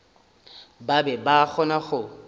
ba be ba kgona go